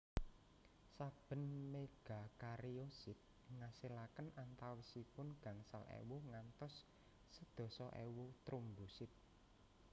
Saben megakariosit ngasilaken antawisipun gangsal ewu ngantos sedasa ewu trombosit